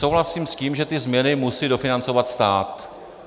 Souhlasím s tím, že ty změny musí dofinancovat stát.